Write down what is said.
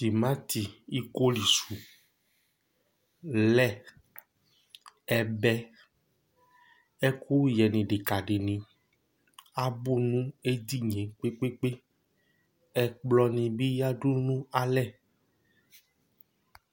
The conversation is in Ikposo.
Timati iko li su, lait, ɛbɛ, ɛkʋyɛ nʋ idikadi ni abʋ nʋ edini ye kpe kpe kpe kpe Ɛkplɔ ni bi yadu nʋ alɛ